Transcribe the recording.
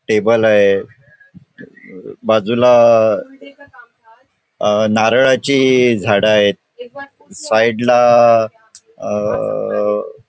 Table आहे बाजूला अ नारळाची झाड आहेत. साईडला अ --